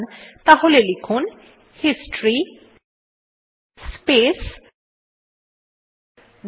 তাহলে লিখুন history space 10